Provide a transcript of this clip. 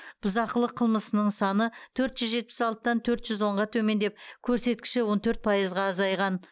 бұзақылық қылмысының саны төрт жүз жетпіс алтыдан төрт жүз онға төмендеп көрсеткіші он төрт пайызға азайған